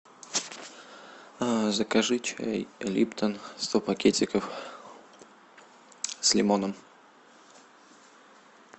закажи чай липтон сто пакетиков с лимоном